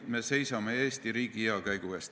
Me seisame Eesti riigi hea käekäigu eest.